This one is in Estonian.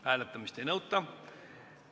Hääletamist ei nõuta.